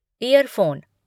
year phone